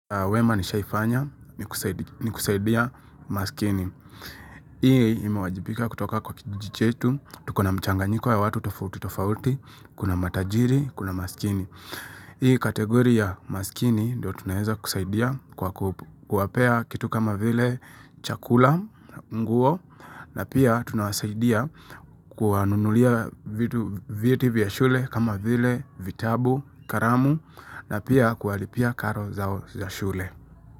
Wema nishaifanya ni kusaidia, ni kusaidia maskini. Hii ima wajibika kutoka kwa kijichetu, tukuna mchanganyiko ya watu tofauti tofauti, kuna matajiri, kuna maskini. Hii kategori ya maskini, ndio tunaeza kusaidia kwa kuwapea kitu kama vile chakula, nguo, na pia tunasaidia kuwanunulia vitu vya shule kama vile vitabu, karamu, na pia kualipia karo zao za shule.